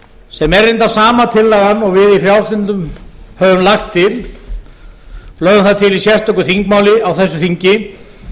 sem er reyndar sama tillagan og við í frjálslyndum höfum lagt til lögðum það til í sérstöku þingmáli á þessu þingi